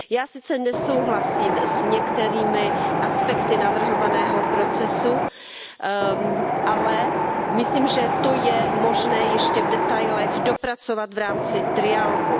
Já sice nesouhlasím s některými aspekty navrhovaného procesu, ale myslím, že to je možné ještě v detailech dopracovat v rámci trialogu.